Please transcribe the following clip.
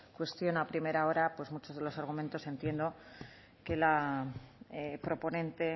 cuestión a primera hora muchos de los argumentos entiendo que la proponente